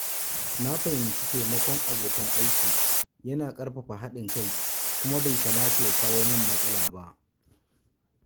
Na fahimci taimakon abokan aiki yana ƙarfafa haɗin kai kuma bai kamata ya kawo mini matsala ba.